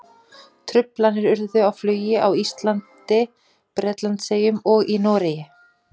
Truflanir urðu á flugi á Íslandi, Bretlandseyjum og í Noregi.